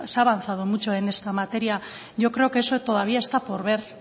ha avanzado mucho en esta materia yo creo que eso está todavía por ver